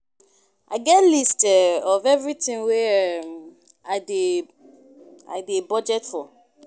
I get list um of everything wey um I dey I dey budget for